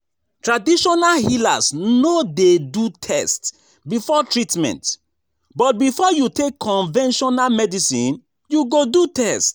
Traditional healers no de do test before treatment but before you take conventional medicine you go do test